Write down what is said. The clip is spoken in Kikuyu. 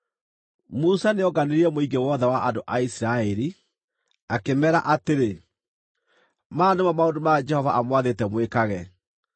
Musa nĩonganirie mũingĩ wothe wa andũ a Isiraeli, akĩmeera atĩrĩ, “Maya nĩmo maũndũ marĩa Jehova aamwathĩte mwĩkage: